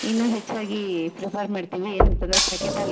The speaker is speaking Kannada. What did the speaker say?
ಇನ್ನು ಹೆಚ್ಚಾಗಿ ಪ್ರಿಫರ್ ಮಾಡ್ತಿವಿ ಏನಂತಂದ್ರೆ ಪ್ಯಾಕೆಟ್ ಅಲ್ಲಿ--